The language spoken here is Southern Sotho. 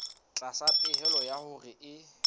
tlasa pehelo ya hore e